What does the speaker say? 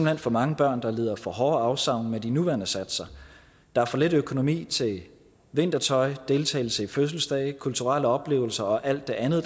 hen for mange børn der lider for hårde afsavn med de nuværende satser der er for lidt økonomi til vintertøj deltagelse i fødselsdage kulturelle oplevelser og alt det andet